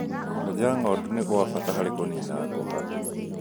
Kwenja ng'ondu nĩ gwa bata harĩ kũnina ngũha